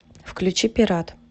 включи пират